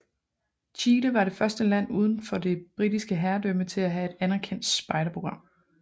Chile var det første land udenfor det Britiske herredømme til at have et anerkendt spejderprogram